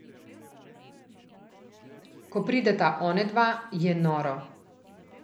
Ko prideta onadva, je noro.